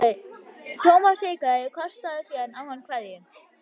Thomas hikaði en kastaði síðan á hann kveðju.